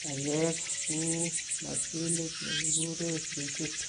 banyek, kou mochinit ne kiguure fridge.